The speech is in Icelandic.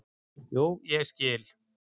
"""Jú, ég skil."""